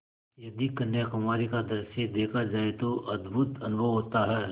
यदि कन्याकुमारी का दृश्य देखा जाए तो अद्भुत अनुभव होता है